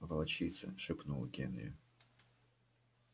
волчица шепнул генри